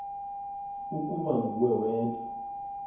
ukuba nguwe wedwa